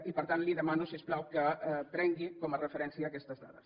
i per tant li demano si us plau que prengui com a referència aquestes dades